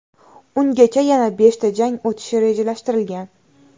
Ungacha yana beshta jang o‘tishi rejalashtirilgan.